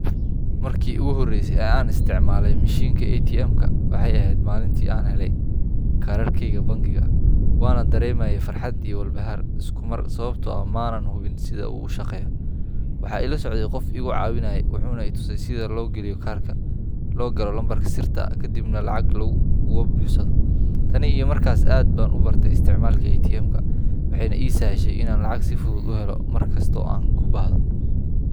Markii ugu horreysay ee aan isticmaalay mishiinka ATMka waxay ahayd maalintii aan helay kaararkayga bangiga. Waan dareemayay farxad iyo walbahaar isku mar, sababtoo ah ma aanan hubin sida uu u shaqeeyo. Waxaa ila socday qof igu caawinayay, wuxuuna i tusay sida loo geliyo kaarka, loo galo lambarka sirta ah, kadibna aan lacag uga baxsado. Tan iyo markaas, aad baan u bartay isticmaalka ATMka, waxayna ii sahashay inaan lacag si fudud u helo mar kasta oo aan u baahdo.